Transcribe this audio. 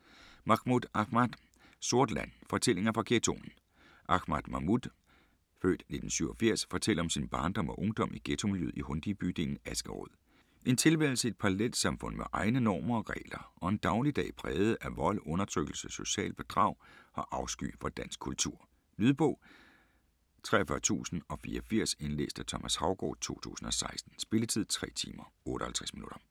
Mahmoud, Ahmad: Sort land: fortællinger fra ghettoen Ahmad Mahmoud (f. 1987) fortæller om sin barndom og ungdom i ghettomiljøet i Hundige-bydelen Askerød. En tilværelse i et parallelsamfund med egne normer og regler og en dagligdag præget af vold, undertrykkelse, socialt bedrag og afsky for dansk kultur. Lydbog 43084 Indlæst af Thomas Haugaard, 2016. Spilletid: 3 timer, 58 minutter.